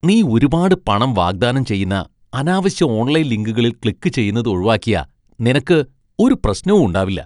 നീ ഒരുപാട് പണം വാഗ്ദാനം ചെയ്യുന്ന അനാവശ്യ ഓൺലൈൻ ലിങ്കുകളിൽ ക്ലിക്കുചെയ്യുന്നത് ഒഴിവാക്കിയാ നിനക്കു ഒരു പ്രശ്നവും ഉണ്ടാവില്ല.